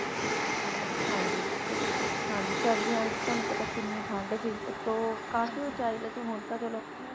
ਹਾਂਜੀ ਸਰਦੀਆਂ ਵਿੱਚ ਤੁਹਾਨੂੰ ਪਤਾਉਤੋਂ ਕਹਿ ਕੀਨੀ ਠੰਡ ਸੀ ਕਾਫੀ ਉਚਾਈ ਹੁਣ ਤਾ ਚਲੋ